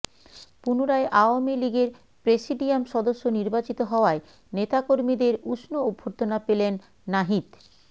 পুনরায় আওয়ামী লীগের প্রেসিডিয়াম সদস্য নির্বাচিত হওয়ায় নেতাকর্মীদের উষ্ণ অভ্যর্থনা পেলেন নাহিদ